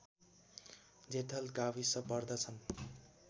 जेठल गाविस पर्दछन्